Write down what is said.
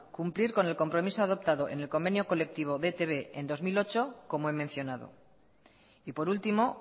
cumplir con el compromiso adoptado en el convenio colectivo de etb en dos mil ocho como he mencionado y por último